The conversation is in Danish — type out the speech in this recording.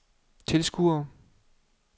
tilskuere